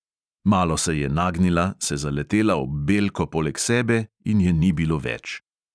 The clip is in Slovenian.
Malo se je nagnila, se zaletela ob belko poleg sebe in je ni bilo več.